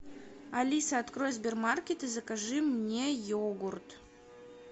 алиса открой сбермаркет и закажи мне йогурт